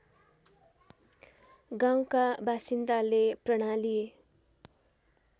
गाउँका बासिन्दाले प्रणाली